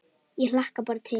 Ég hlakka bara til!